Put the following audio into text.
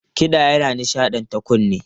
Kiɗa yana nishaɗanta kunne.